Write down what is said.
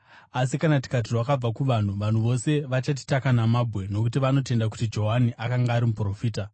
Asi kana tikati, ‘Rwakabva kuvanhu,’ vanhu vose vachatitaka namabwe, nokuti vanotenda kuti Johani akanga ari muprofita.”